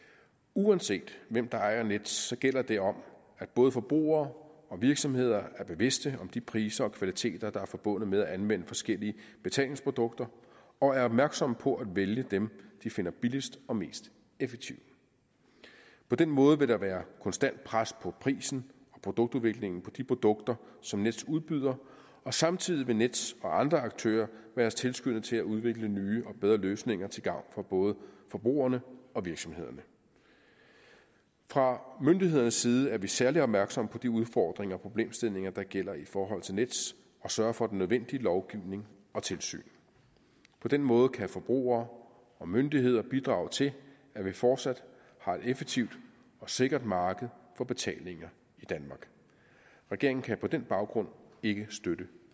uanset hvem der ejer nets gælder det om at både forbrugere og virksomheder er bevidste om de priser og kvaliteter der er forbundet med at anvende forskellige betalingsprodukter og er opmærksomme på at vælge dem de finder billigst og mest effektive på den måde vil der være konstant pres på prisen og produktudviklingen på de produkter som nets udbyder og samtidig vil nets og andre aktører være tilskyndet til at udvikle nye og bedre løsninger til gavn for både forbrugerne og virksomhederne fra myndighedernes side er vi særlig opmærksomme på de udfordringer og problemstillinger der gælder i forhold til nets at sørge for den nødvendige lovgivning og tilsyn på den måde kan forbrugere og myndigheder bidrage til at vi fortsat har et effektivt og sikkert marked for betalinger i danmark regeringen kan på den baggrund ikke støtte